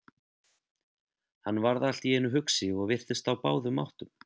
Hann varð allt í einu hugsi og virtist á báðum áttum.